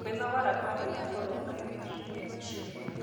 Kwĩnogora kwa hinya kũrũngagĩrĩrĩa mwĩrĩ